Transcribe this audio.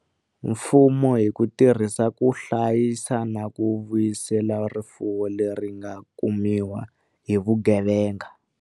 Mfumo hi ku tirhisa ku hla yisa na ku vuyisela rifuwo leri nga kumiwa hi vuge venga.